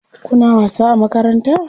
Kuna wasa a makaranta?